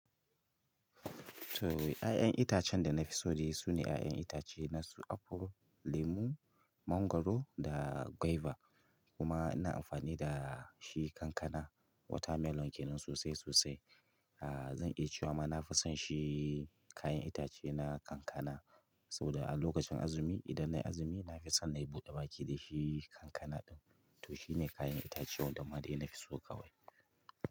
To, ƴaƴan itacen da na fi so dai su ne kayan itace nasu apple, lemu, mangwaro da guava. Kuma ina amfani da shi kankana water melon kenan sosai sosai ah zan iya cewa ma nafison shi kayan itace na kankana saboda a lokacin azumi, idan na yi azumi, na fi son na yi buɗe baki da shi kankana ɗin. Toh shine kayan itace wanda ma dai nafiso kawai.